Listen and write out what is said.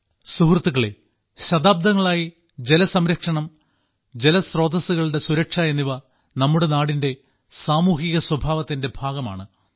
സുഹൃത്തുക്കളേ ശതാബ്ദങ്ങളായി ജലസംരക്ഷണം ജലസ്രോതസ്സുകളുടെ സുരക്ഷ എന്നിവ നമ്മുടെ നാടിന്റെ സാമൂഹിക സ്വഭാവത്തിന്റെ ഭാഗമാണ്